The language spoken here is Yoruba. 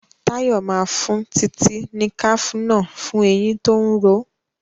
Tayo má fún Titi ní cafenol fún ẹyìn tó ń ró.